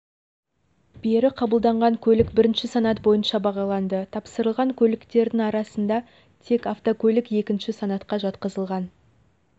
бері қабылданған көлік бірінші санат бойынша бағаланды тапсырылған көліктердің арасында тек автокөлік екінші санатқа жатқызылған